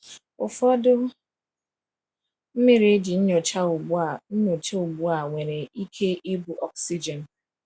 Ụfọdụ mmiri eji nyocha ugbu a nyocha ugbu a nwere ike ibu oxygen.